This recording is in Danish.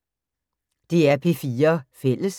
DR P4 Fælles